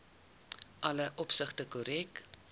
alle opsigte korrek